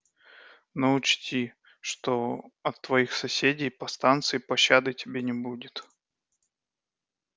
но учти что от твоих соседей по станции пощады тебе не будет